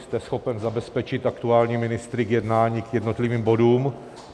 Jste schopen zabezpečit aktuální ministry k jednání k jednotlivým bodům?